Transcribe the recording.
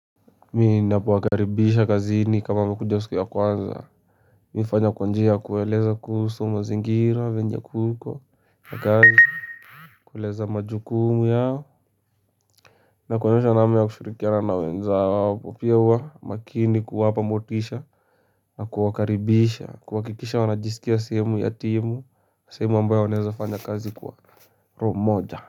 Ninapowakaribisha kazini ni kama amekuja siku ya kwanza Mimi hufanya kwanjia kuweleza kusu mazingira venye kuko na kazi Kuleza majukumu yao Nakuonyosha namna ya kushurikiana na wenza wao kupiewa makini kuwapa motisha na kuakaribisha kuwakikisha wanajisikia sehemu yatimu sehemu ambaye wanaezafanya kazi kwa roho moja.